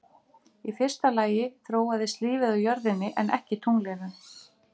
Í fyrsta lagi þróaðist lífið á jörðinni en ekki tunglinu.